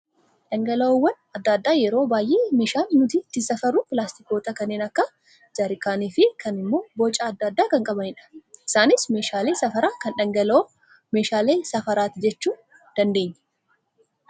Dhangala'oowwan adda addaa yeroo baay'ee meeshaan nuti ittiin safarru pilaastikoota kanneen akka jaarkaanii fi kaan immoo boca adda addaa kan qabanidha. Isaanis meeshaalee safaraa kan dhangala'oo, meeshaalee safaraati jechuu dandeenya.